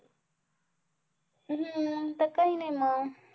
हम्म काही नाही मग